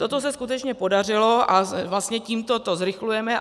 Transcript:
Toto se skutečně podařilo a vlastně tímto to zrychlujeme.